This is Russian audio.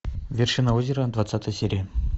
вершина озера двадцатая серия